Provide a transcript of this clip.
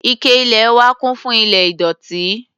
Ike ilẹ̀ wa kún fún ilẹ̀ ìdọ̀tí.